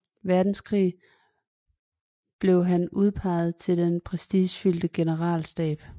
Verdenskrig blev han udpeget til den prestigefyldte generalstab